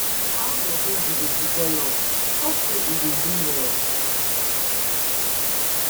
how your baby dey develop, hope say e dey do well?